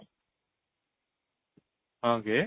ହଁ କି